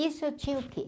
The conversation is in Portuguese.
Isso eu tinha o quê?